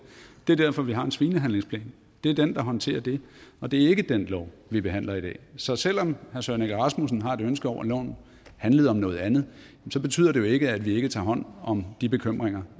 det er derfor vi har en svinehandlingsplan det er den der håndterer det og det er ikke den lov vi behandler i dag så selv om herre søren egge rasmussen har et ønske om at loven handlede om noget andet betyder det jo ikke at vi ikke tager hånd om de bekymringer